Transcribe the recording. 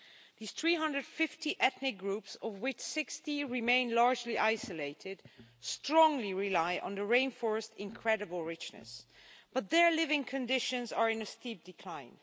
These 350 ethnic groups of which 60 remain largely isolated strongly rely on the rainforest's incredible richness, but their living conditions are in steep decline.